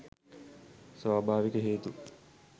ස්වභාවික හේතු